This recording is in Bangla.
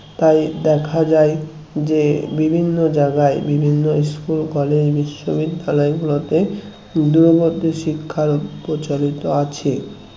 তাই দেখা যাই যে বিভিন্ন জায়গায় বিভিন্ন school college বিশ্ববিদ্যালয়গুলোতে দূরবর্তী শিক্ষার প্রচারিত আছে